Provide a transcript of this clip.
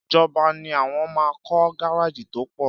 Ìjọbà ní àwon mà kọ gàrájì tọ pọ̀